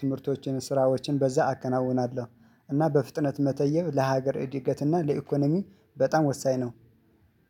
ትምህርቶችን ስራዎችን በዛ አከናውናለሁ። እና በፍጥነት መተየብ ለሀገር እድገትና ለኢኮኖሚ በጣም ወሳኝ ነው።